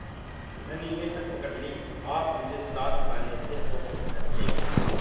धनी ने हठ पकड़ ली आप मुझे साथ आने से रोक नहीं सकते